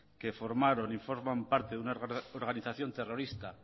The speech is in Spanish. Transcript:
que formaron y forman parte de una organización terrorista